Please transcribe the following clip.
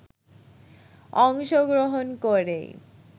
অংশগ্রহণ করেই